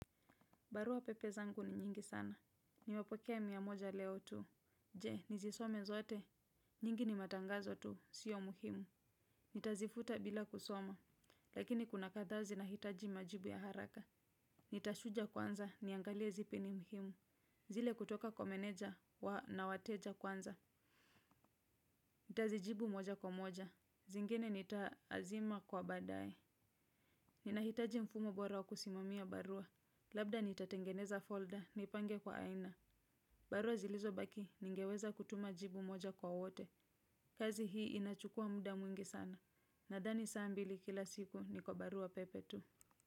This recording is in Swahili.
Barua pepe zangu ni nyingi sana. Nimepokea miyamoja leo tu. Je, nizisome zote. Nyingi ni matangazo tu. Sio muhimu. Nitazifuta bila kusoma. Lakini kuna kathaa zi nahitaji majibu ya haraka. Nitazuja kwanza niangalie zipi ni muhimu. Zile kutoka kwa meneja wa na wateja kwanza. Nitazijibu moja kwa moja. Zingine nita azima kwa baadae. Ninahitaji mfumo bora kusimamia barua. Labda nitatengeneza folder. Nipange kwa aina. Barua zilizo baki ningeweza kutuma jibu moja kwa wote. Kazi hii inachukua muda mwingi sana. Nathani saa mbili kila siku ni kwa barua pepe tu.